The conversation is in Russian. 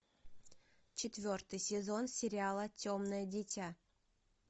четвертый сезон сериала темное дитя